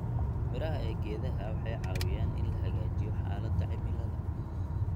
Midhaha ee geedaha waxay caawiyaan in la hagaajiyo xaaladda cimilada.